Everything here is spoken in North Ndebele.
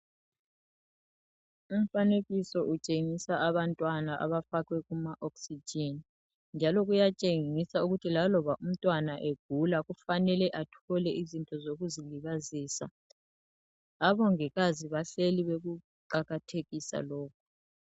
Umfanekiso utshengisa abantwana abafakwe kuma oxygen njalo kuyatshengisa ukuthi laloba umntwana egula kufanele athole izinto zokuzilibazisa abongikazi bahleli bekuqakathekisa lokhu.